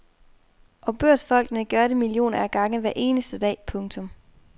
Og børsfolkene gør det millioner af gange hver eneste dag. punktum